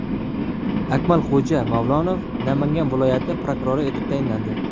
Akmalxo‘ja Mavlonov Namangan viloyati prokurori etib tayinlandi.